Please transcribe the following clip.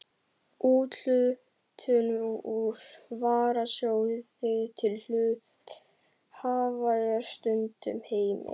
Úthlutun úr varasjóði til hluthafa er stundum heimil.